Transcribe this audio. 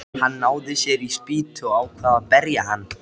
Hann náði sér í spýtu og ákvað að berja hann.